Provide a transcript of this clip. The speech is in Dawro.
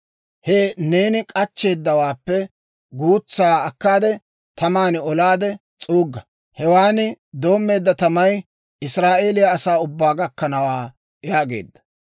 He neeni k'achcheeddawaappe guutsaa akkaade, taman olaade s'uugga. Hewan doommeedda tamay Israa'eeliyaa asaa ubbaa gakkanawaa» yaageedda.